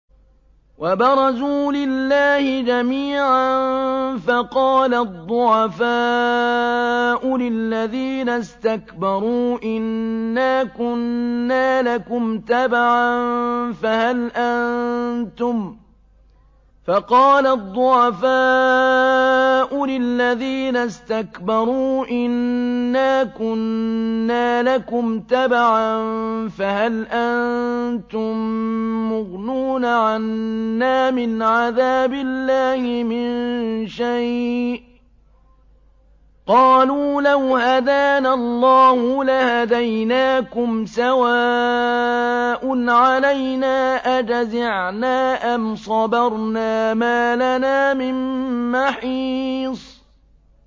وَبَرَزُوا لِلَّهِ جَمِيعًا فَقَالَ الضُّعَفَاءُ لِلَّذِينَ اسْتَكْبَرُوا إِنَّا كُنَّا لَكُمْ تَبَعًا فَهَلْ أَنتُم مُّغْنُونَ عَنَّا مِنْ عَذَابِ اللَّهِ مِن شَيْءٍ ۚ قَالُوا لَوْ هَدَانَا اللَّهُ لَهَدَيْنَاكُمْ ۖ سَوَاءٌ عَلَيْنَا أَجَزِعْنَا أَمْ صَبَرْنَا مَا لَنَا مِن مَّحِيصٍ